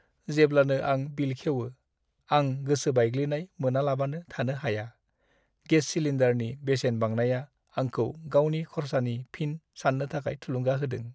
जेब्लानो आं बिल खेवो, आं गोसो बायग्लिनाय मोनालाबानो थानो हाया। गेस सिलिन्डारनि बेसेन बांनाया आंखौ गावनि खरसाखौ फिन सान्नो थाखाय थुलुंगा होदों।